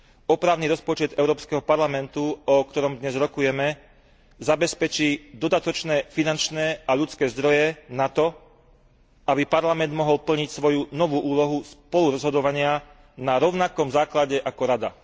Opravný rozpočet Európskeho parlamentu, o ktorom dnes rokujeme, zabezpečí dodatočné finančné a ľudské zdroje na to, aby Parlament mohol plniť svoju novú úlohu spolurozhodovania na rovnakom základe ako Rada.